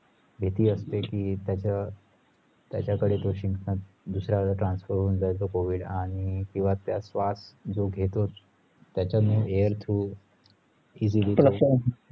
भीती असते की त्याचा त्याच्या कडे शिंकतात दुसऱ्याला transfer होऊन जाईल तो covid आणि किंवा श्वास जे घेतो त्याचाने air through